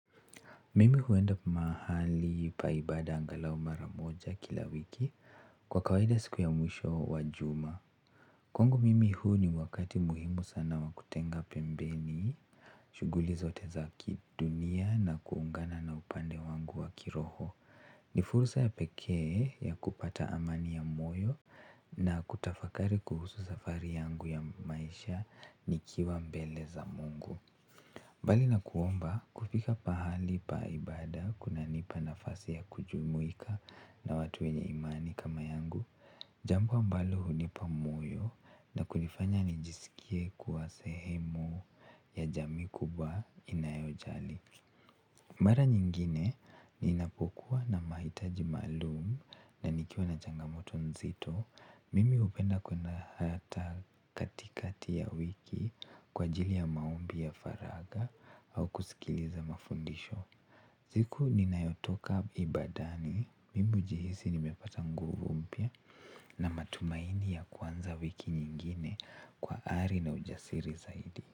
Mimi huenda mahali pa ibada angalau maramoja kila wiki kwa kawaida siku ya mwisho wa juma. Kwangu mimi huu ni wakati muhimu sana wa kutenga pembeni, shuguli zote za kidunia na kuungana na upande wangu wa kiroho. Ni fursa ya pekee ya kupata amani ya moyo na kutafakari kuhusu safari yangu ya maisha nikiwa mbele za mungu. Mbali na kuomba kufika pahali pa ibada kuna nipa nafasi ya kujumuika na watu wenye imani kama yangu jambo ambalo hunipa moyo na kunifanya nijiskie kuwa sehemu ya jamii kubwa inayojali mara nyingine ninapokuwa na mahitaji maalumu na nikiwa na changamoto nzito mimi hupenda kuenda hata katikati ya wiki kwa ajili ya maombi ya faraga au kusikiliza mafundisho. Ziku ninayotoka ibadani, mimi ujihisi nimepata nguvu mpya na matumaini ya kuanza wiki nyingine kwa ari na ujasiri zaidi.